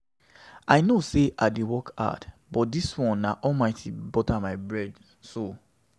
I know sey I dey work hard but dis one na Almighty butter my bread so.